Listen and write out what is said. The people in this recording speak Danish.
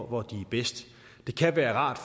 hvor de er bedst det kan være rart